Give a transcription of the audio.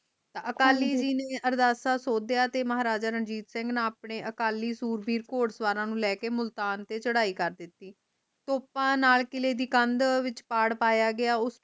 ਅਕਾਲੀ ਜੀ ਨੇ ਅਰਦਾਸਾ ਸੋਡੀਆ ਤੇ ਮਹਾਰਾਜਾ ਰੰਜਿਤ ਸਿੰਘ ਆਉਣੇ ਅਕਾਲੀ ਸ਼ੁਰਵੀਰ ਘੁੜ ਸਵਾਰ ਨੂੰ ਲੈਕੇ ਮੁਲਤਾਨ ਤੇ ਚੜੈ ਕਰ ਦਿਤੀ ਤੋਪਾ ਨਾਲ ਕਿਲੇ ਦੀ ਕੰਧ ਵਿਚ ਪਾੜ ਪਾਯਾ ਗਿਆ